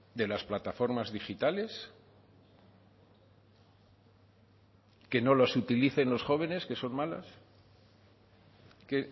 de las plataformas digitales que no los utilicen los jóvenes que son malas que